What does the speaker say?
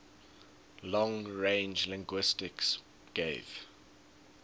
long range linguistics gave